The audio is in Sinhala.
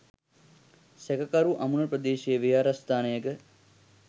සැකකරු අමුණ ප්‍රදේශයේ විහාරස්ථානයක